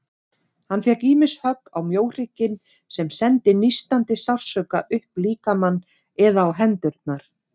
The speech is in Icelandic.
Hann fékk ýmist högg á mjóhrygginn, sem sendi nístandi sársauka upp líkamann, eða á hendurnar.